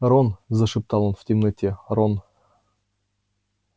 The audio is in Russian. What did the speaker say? рон зашептал он в темноте рон